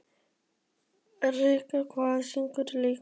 Hinrika, hvaða sýningar eru í leikhúsinu á mánudaginn?